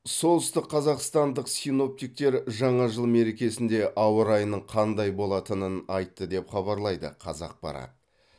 солтүстік қазақстандық синоптиктер жаңа жыл мерекесінде ауа райының қандай болатынын айтты деп хабарлайды қазақпарат